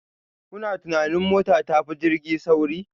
Kuna tunanin mota ta fi jirgi sauri?